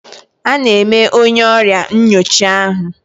A na-eme onye ọrịa nyocha ahụ.